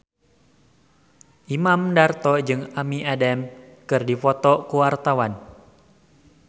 Imam Darto jeung Amy Adams keur dipoto ku wartawan